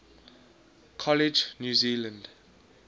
college new zealand